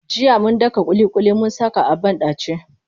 Jiya mun daka ƙuliƙuli mun saka a banɗace.